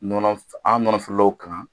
Nɔnɔ an nɔnɔ feerelaw kan